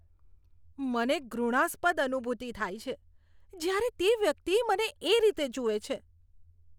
મને ઘૃણાસ્પદ અનુભૂતિ થાય છે જ્યારે તે વ્યક્તિ મને એ રીતે જુએ છે.